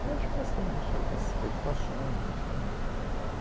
Eu acho que elas têm isso, elas têm essas preocupações, enfim.